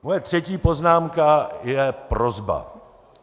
Moje třetí poznámka je prosba.